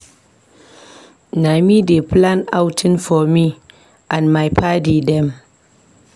Na me dey plan outing for me and my paddy dem.